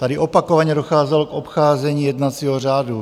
Tady opakovaně docházelo k obcházení jednacího řádu.